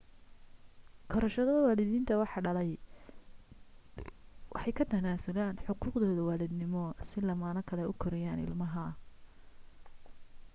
korsashada waalidiintii wax dhalay waxay ka tanaasulaan xuquuqdooda waalidnimo si lamaane kale u koriyaan ilmaha